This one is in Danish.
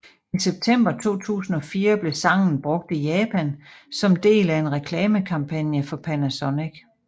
I september 2004 blev sangen brugt i Japan som del af en reklamekampagne for Panasonic